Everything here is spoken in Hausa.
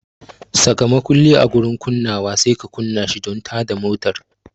Saka makulli a gurin kunnawa sai ka kunna shi don tada motar.